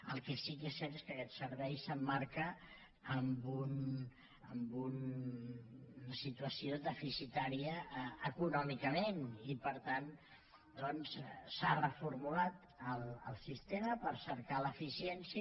el que sí que és cert és que aquest servei s’emmarca en una situació deficitària econòmicament i per tant s’ha reformulat el sistema per cercar l’eficiència